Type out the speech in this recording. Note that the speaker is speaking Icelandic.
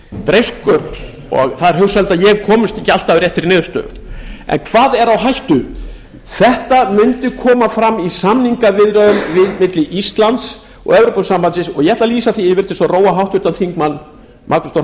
breyskur og það er hugsanlegt að ég komist ekki alltaf að réttri niðurstöðu en hvað er á hættu þetta mundi koma fram í samningaviðræðum milli íslands og evrópusambandsins og ég ætla að lýsa því yfir til að róa háttvirtan þingmann magnús þór